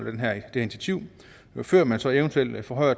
før man så eventuelt forhøjer